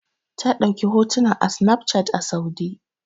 Ta ɗauki hotuna da sinafcat a Saudi.